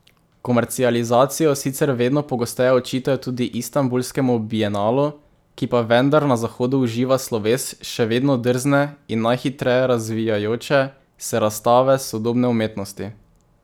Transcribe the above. Komercializacijo sicer vedno pogosteje očitajo tudi Istanbulskemu bienalu, ki pa vendar na Zahodu uživa sloves še vedno drzne in najhitreje razvijajoče se razstave sodobne umetnosti.